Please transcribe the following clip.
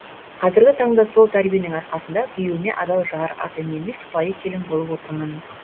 қазіргі таңда сол тәрбиенің арқасында күйеуіме адал жар ата енеме сыпайы келін болып отырмын